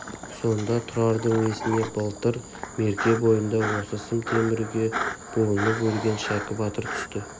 сонда тұрардың есіне былтыр мерке бойында осы сым темірге буынып өлген шәкі батыр түсті